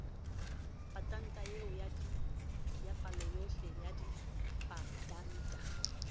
patanta eo paloyohle ya dipatanta